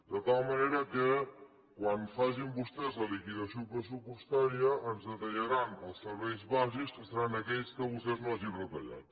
de tal manera que quan facin vostès la liquidació pressupostària ens retallaran els serveis bàsics que seran aquells que vostès no hagin retallat